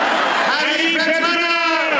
Haqq Əli!